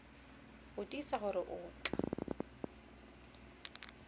go tiisa gore o tla